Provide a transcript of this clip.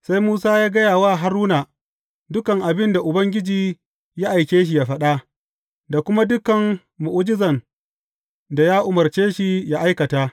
Sai Musa ya gaya wa Haruna dukan abin da Ubangiji ya aike yă faɗa, da kuma dukan mu’ujizan da ya umarce shi yă aikata.